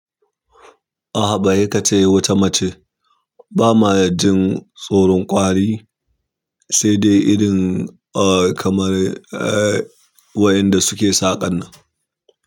Aha, ba yi ka ce wata mace ba ma jin tsoron ƙwari sai dai irin kamar wayanda suke saƙanan.